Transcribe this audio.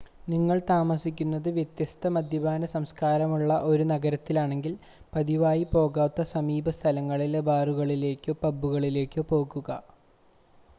നിങ്ങൾ താമസിക്കുന്നത് വ്യത്യസ്ത മദ്യപാന സംസ്കാരമുള്ള ഒരു നഗരത്തിലാണെങ്കിൽ പതിവായി പോകാത്ത സമീപ സ്ഥലങ്ങളിലെ ബാറുകളിലേക്കോ പബുകളിലേക്കോ പോകുക